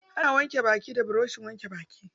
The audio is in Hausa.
Ana wanke baki da burushin wanke baki.